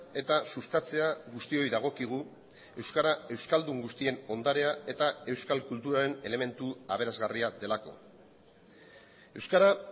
eta sustatzea guztioi dagokigu euskara euskaldun guztien ondarea eta euskal kulturaren elementu aberasgarria delako euskara